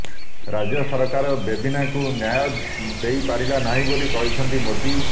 ରାଜ୍ୟ ସରକାର ବେବିନାକୁ ନ୍ୟାୟ ଦେଇପାରିଲା ନାହିଁ ବୋଲି କହିଛନ୍ତି ମୋଦି